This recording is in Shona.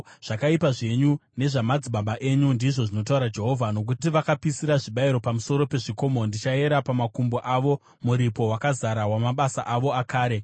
zvakaipa zvenyu nezvamadzibaba enyu,” ndizvo zvinotaura Jehovha. “Nokuti vakapisira zvibayiro pamusoro pezvikomo, ndichayera pamakumbo avo muripo wakazara wamabasa avo akare.”